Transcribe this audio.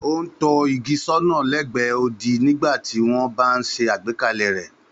Ó ń tọ́ igi sọ́nà lẹ́gbẹ̀ẹ́ odi nígbà tí wọ́n bá ń ṣe àgbékalẹ̀ rẹ̀.